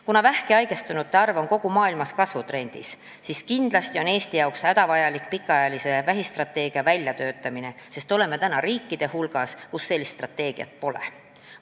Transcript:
Kuna vähki haigestunute arv on kogu maailmas kasvutrendis, siis kindlasti on Eestis hädavajalik välja töötada pikaajaline vähistrateegia, sest oleme riikide hulgas, kus sellist strateegiat pole.